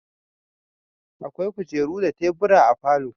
Akwai kujeru da tebur a falo